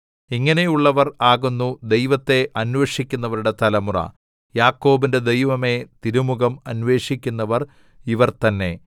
ഇങ്ങനെയുള്ളവർ ആകുന്നു ദൈവത്തെ അന്വേഷിക്കുന്നവരുടെ തലമുറ യാക്കോബിന്റെ ദൈവമേ തിരുമുഖം അന്വേഷിക്കുന്നവർ ഇവർ തന്നെ സേലാ